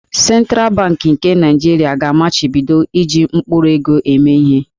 Sentral Bankị nke Naịjirịa ga-amachibido iji mkpụrụego eme ihe.